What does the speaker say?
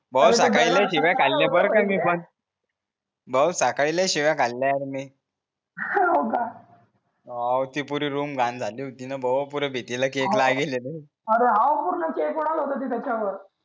भाऊ कायले शिवा खाल्ल्या पण त्यांनी पण भाऊ कायले शिवा खाल्ल्या तुम्ही होका हो ती पुरी रूम घाण झाली होती न भाऊ पुरे अरे हो पूर्ण केक उडवल होत तिथ त्याचामुळ